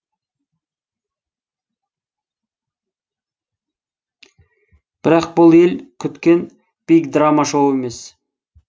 бірақ бұл ел күткен бигдрамашоу емес